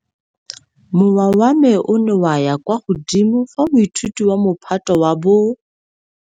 Mowa wa me o ne wa ya kwa godimo fa moithuti wa Mophato wa bo.